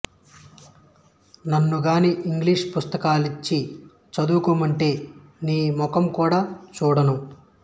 నన్ను గాని ఇంగ్లీషు పుస్తకాలిచ్చి చదుకోమంటే మీ మొకం కూడ చూడను